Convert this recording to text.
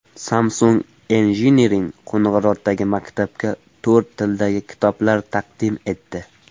Samsung Engineering Qo‘ng‘irotdagi maktabga to‘rt tildagi kitoblar taqdim etdi.